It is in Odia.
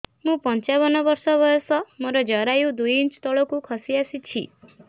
ମୁଁ ପଞ୍ଚାବନ ବର୍ଷ ବୟସ ମୋର ଜରାୟୁ ଦୁଇ ଇଞ୍ଚ ତଳକୁ ଖସି ଆସିଛି